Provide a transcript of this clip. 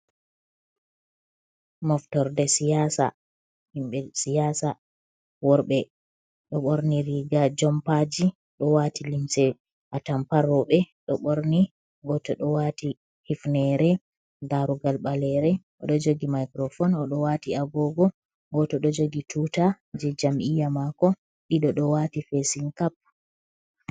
Moftorde siyasa himɓe siyasa ,worɓe ɗo ɓorni riiga, jompaji ɗo waati limse atampa rowɓe ɗo ɓorni, gooto ɗo waati hifnere, darugal baleere o ɗo jogi microfone, o ɗo waati agogo, gooto ɗo jogi tuutaje jam'iya maako. Ɗiɗo ɗo waati fesin cap.